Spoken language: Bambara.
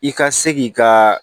I ka se k'i ka